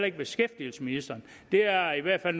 ikke beskæftigelsesministeren det er i hvert fald